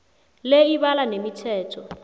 le ibala nemithetho